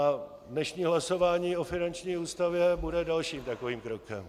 A dnešní hlasování o finanční ústavě bude dalším takovým krokem.